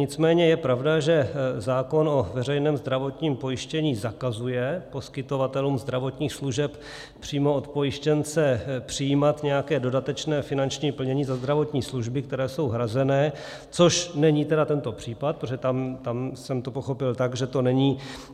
Nicméně je pravda, že zákon o veřejném zdravotním pojištění zakazuje poskytovatelům zdravotních služeb přímo od pojištěnce přijímat nějaké dodatečné finanční plnění za zdravotní služby, které jsou hrazené, což není tedy tento případ, protože tam jsem to pochopil tak, že to